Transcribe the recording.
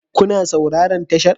Kuna sauraron tashar?